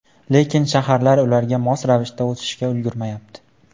Lekin shaharlar ularga mos ravishda o‘sishga ulgurmayapti.